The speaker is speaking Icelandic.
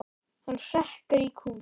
Hann hrekkur í kút.